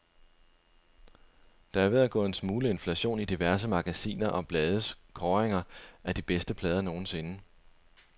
Der er ved at gå en smule inflation i diverse magasiner og blades kåringer af de bedste plader nogensinde.